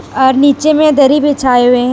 और नीचे में दरी बिछाए हुए हैं ।